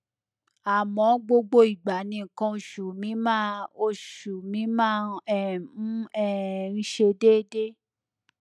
àmọ gbogbo ìgbà ni nǹkan oṣù mi máa oṣù mi máa um ń um ṣe déédé